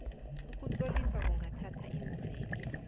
ukuzitlolisa kungathatha iimveke